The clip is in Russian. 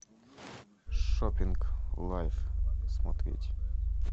шоппинг лайф смотреть